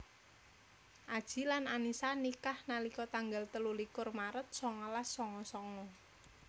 Adji lan Annisa nikah nalika tanggal telu likur maret songolas songo songo